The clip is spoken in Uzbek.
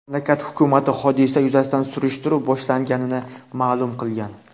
Mamlakat hukumati hodisa yuzasidan surishtiruv boshlanganini ma’lum qilgan.